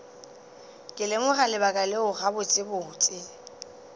ke lemoga lebaka leo gabotsebotse